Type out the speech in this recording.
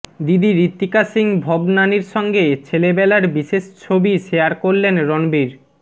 দিদি ঋত্বিকা সিং ভবনানীর সঙ্গে ছেলেবেলার বিশেষ ছবি শেয়ার করলেন রণবীর